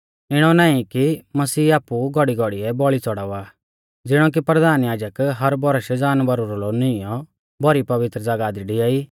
इणौ नाईं कि मसीह आपु घौड़ीघौड़ीऐ बौल़ी च़ौड़ावा ज़िणौ कि परधान याजक हर बौरश जानवरा रौ लोऊ नीईंयौ भौरी पवित्र ज़ागाह दी डिआई